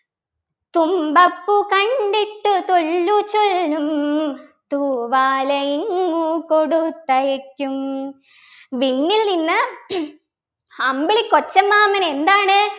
തുമ്പപ്പൂ കണ്ടിട്ടു തൊല്ലുചൊല്ലും തൂവാലയിങ്ങു കൊടുത്തയയ്ക്കും വിണ്ണിൽ നിന്ന് അമ്പിളിക്കൊച്ചമ്മാമൻ എന്താണ്